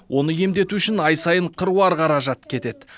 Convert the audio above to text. оны емдету үшін ай сайын қыруар қаражат кетеді